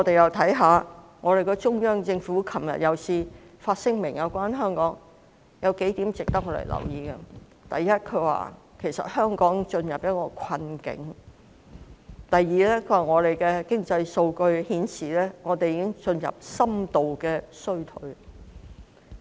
昨天，中央政府再次發表有關香港的聲明，其中數點值得留意：第一，香港已進入困境；第二，經濟數據顯示香港已進入深度衰退。